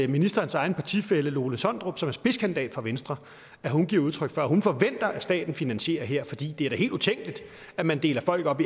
ministerens egen partifælle lone sondrup som er spidskandidat for venstre giver udtryk for at hun forventer at staten finansierer her fordi det da er helt utænkeligt at man deler folk op